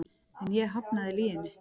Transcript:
En ég hafnaði lyginni.